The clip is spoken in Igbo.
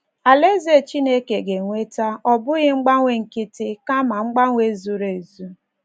Alaeze Chineke ga - eweta, ọ bụghị mgbanwe nkịtị, kama mgbanwe zuru ezu